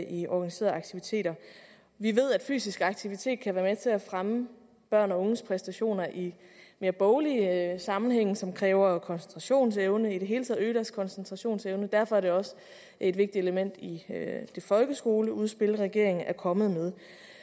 i organiserede aktiviteter vi ved at fysisk aktivitet kan være med til at fremme børn og unges præstationer i mere boglige sammenhænge som kræver koncentrationsevne i det hele taget øge deres koncentrationsevne derfor er det også et vigtigt element i det folkeskoleudspil regeringen er kommet med